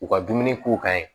U ka dumuni k'u kan ye